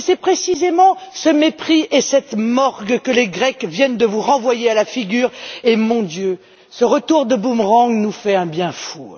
C'est précisément ce mépris et cette morgue que les Grecs viennent de vous renvoyer à la figure et, mon Dieu, ce retour de boomerang nous fait un bien fou!